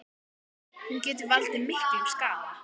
Hún getur valdið miklum skaða.